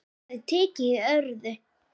Það er tekið í öðru.